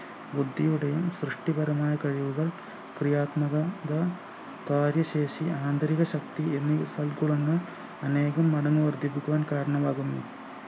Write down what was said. ബുദ്ധിയുടെയും സൃഷ്ടിപരമായ കഴിവുകൾ ക്രിയാത്മകം ക കാര്യശേഷി ആന്തരികശക്തി എന്നിവ സൽഗുണങ്ങൾ അനേകം മടങ്ങ് വർധിപ്പിക്കുവാൻ കാരണമാകുന്നു